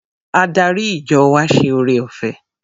Adarí ìjọ wa ṣe ore-ọ̀fẹ́.